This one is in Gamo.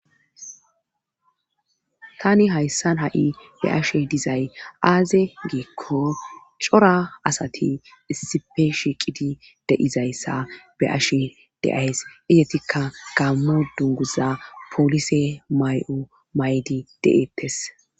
tani hayssan ha7i be ashe dizay aaze giikko cora asati issipe shiiqidi de7izayssa be ashe de7ays izetikka gammo dunguza polise may7o may7di de7ettes